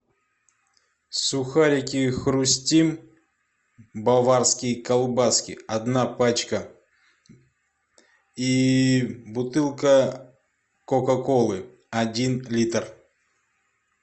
сухарики хрустим баварские колбаски одна пачка и бутылка кока колы один литр